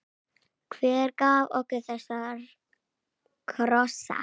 Hver gaf okkur þessa krossa?